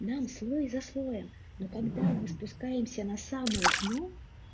нам слой за слоем но когда мы спускаемся на самое дно